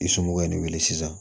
I somɔgɔw ye ne wele sisan